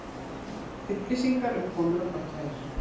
Upplýsingar um komur og brottfarir